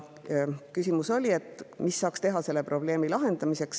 Oli küsimus, mida saaks teha selle probleemi lahendamiseks.